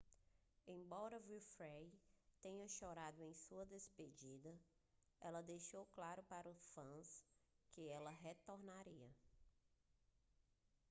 embora winfrey tenha chorado em sua despedida ela deixou claro para os fãs que ela retornaria